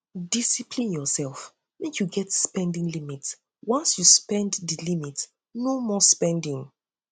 discipline urself mek yu get spending limit once yu pass di limit no more spending